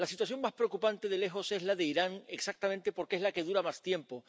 La situación más preocupante de lejos es la de Irán, exactamente porque es la que dura más tiempo